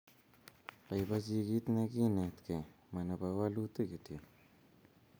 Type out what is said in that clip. Boibochi kit ne kinetekei ma nebo walutik kityo